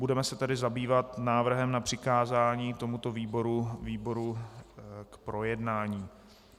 Budeme se tedy zabývat návrhem na přikázání tomuto výboru k projednání.